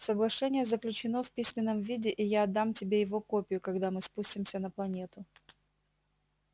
соглашение заключено в письменном виде и я отдам тебе его копию когда мы спустимся на планету